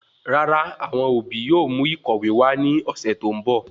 Rárá awọn obi yóò mú ìkọ̀wé wa ni ọsẹ tó ń bọ̀